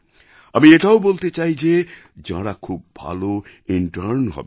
আমি এটাও বলতে চাই যে যাঁরা খুব ভালো ইন্টার্ন হবেন